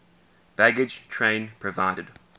baggage train provided